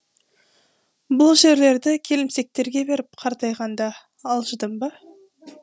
бұл жерлерді келімсектерге беріп қартайғанда алжыдым ба